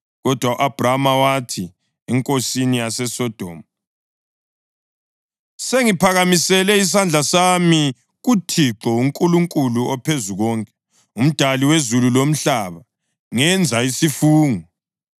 Kodwa u-Abhrama wathi enkosini yaseSodoma, “Sengiphakamisele isandla sami kuThixo, uNkulunkulu oPhezukonke, uMdali wezulu lomhlaba, ngenza isifungo